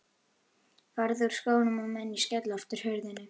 Farðu úr skónum á meðan ég skelli aftur hurðinni.